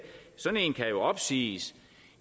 kan jo opsiges